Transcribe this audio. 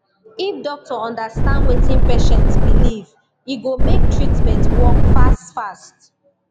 if doctor understand wetin patient believe e go make treatment work fast fast